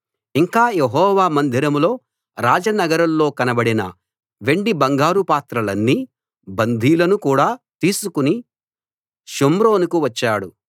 ఇంకా యెహోవా మందిరంలో రాజనగరులో కనబడిన వెండి బంగాపాత్రలన్నీ బందీలను కూడా తీసుకుని షోమ్రోనుకు వచ్చాడు